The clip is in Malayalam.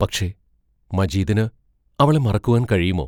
പക്ഷേ, മജീദിന് അവളെ മറക്കുവാൻ കഴിയുമോ?